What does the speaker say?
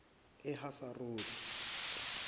ehaseroti